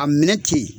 A minɛ ten